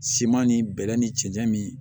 Siman ni bɛlɛ ni cɛncɛn min